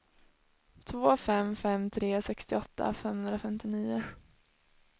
två fem fem tre sextioåtta femhundrafemtionio